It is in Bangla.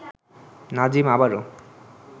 নাজিম আবারও